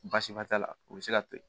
Baasi ba t'a la u bɛ se ka to